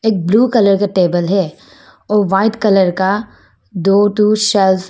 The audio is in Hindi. ब्ल्यू कलर का टेबल है और वाइट कलर का दो ठो शेल्व्स है।